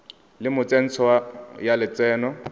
le mo tsentsho ya lotseno